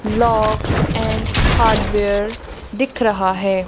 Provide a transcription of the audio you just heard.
Locks and hardware दिख रहा है।